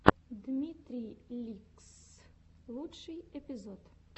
дмитрий ликсссс лучший эпизод